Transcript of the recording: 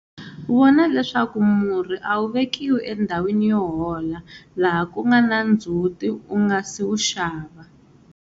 Vona leswaku murhi a wu vekiwi endhawini yo hola laha ku nga na ndzhuti u nga si wu xava.